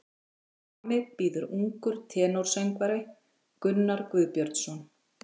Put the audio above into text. Frammi bíður ungur tenórsöngvari, Gunnar Guðbjörnsson.